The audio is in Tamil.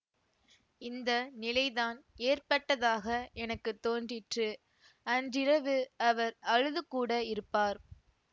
இந்த நிலைதான் ஏற்பட்டதாக எனக்கு தோன்றிற்று அன்றிரவு அவர் அழுதுகூட இருப்பார்